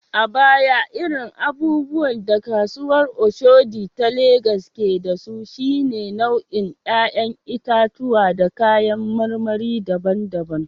A baya, irin abubuwan da kasuwar Oshodi ta Legas ke da su, shine nau’in ‘ya’yan itatuwa da kayan marmari daban-daban.